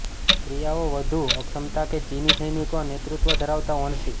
ક્રિયાઓ વધુ અક્ષમતા કે ચિની સૈનિકો નેતૃત્વ ધરાવતા વણસી